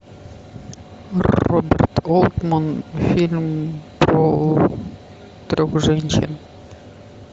роберт олтмен фильм про трех женщин